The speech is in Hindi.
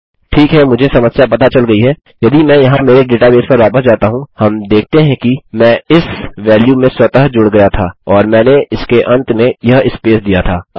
ठीक है मुझे समस्या पता चल गई है यदि मैं यहाँ मेरे डेटाबेस पर वापस जाता हूँ हम देखते हैं कि मैं इस वेल्यू में स्वतः जुड़ गया था और मैंने इसके अन्त में यह स्पेस दिया था